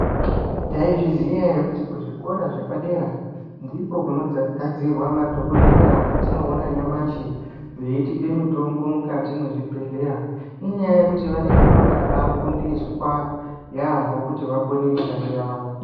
Tai zviziya ere kuti ku zvikora zvepa dera ndiko kuno gadzirwa madhokoteya atino ona nyamashi veitipe mutombo mukati mwe zvibhedhleya inyaya yekuti vanenge vakabai fundiswa yambo kuti vakone mishando yavo.